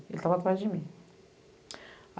Ele estava atrás de mim.